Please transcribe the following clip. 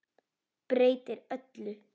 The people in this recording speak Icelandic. Breytir öllu.